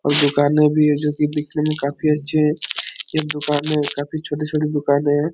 और दुकानें भी हैं जो की दिखने में काफी अच्छी हैं इस दुकानें में काफी छोटी-छोटी दुकानें हैं।